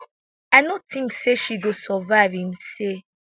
i no tink say she go survive im say